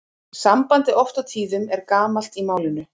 Sambandið oft og tíðum er gamalt í málinu.